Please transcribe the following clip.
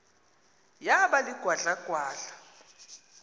yaba ligwadla gwadla